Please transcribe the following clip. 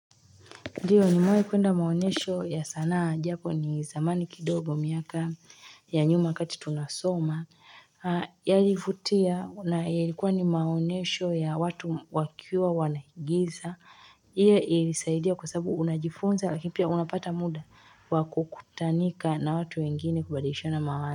Ndiyo ni mwai kwenda maonyesho ya sanaa. Ijapo ni zamani kidogo miaka ya nyuma wakati tunasoma. Yalivutia na yalikuwa ni maonyesho ya watu wakiwa wanahigiza. Hiyo ilisaidia kwa sababu unajifunza vipya unapata muda, wa kukutanika na watu wengine kubadilishana mawazo.